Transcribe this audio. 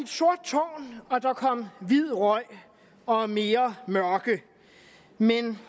sort tårn og der kom hvid røg og mere mørke men